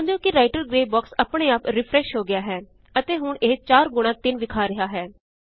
ਧਿਆਨ ਦਿਓ ਕਿ ਰਾਇਟਰ ਗ੍ਰੇ ਬਾਕ੍ਸ ਆਪ੍ਣੇ ਆਪ ਰੀਫ਼੍ਰੈਸ਼ ਹੋ ਗਿਆ ਹੈ ਅਤੇ ਹੁਣ ਇਹ 4 ਗੁਣਾ 3 ਵਿਖਾ ਰਿਹਾ ਹੈ